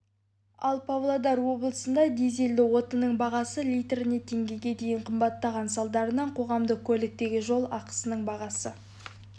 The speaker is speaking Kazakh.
ал павлодар облысында дизелді отынның бағасы литріне теңгеге дейін қымбаттаған салдарынан қоғамдық көліктегі жол ақысының бағасы